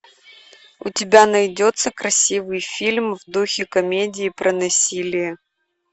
у тебя найдется красивый фильм в духе комедии про насилие